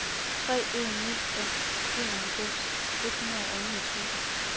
tre en ni fem enoghalvfems et hundrede og niogtyve